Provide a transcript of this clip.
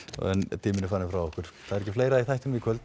tíminn er farinn frá okkur þá er ekki fleira í þættinum í kvöld